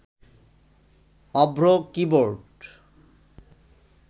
Avro keyboard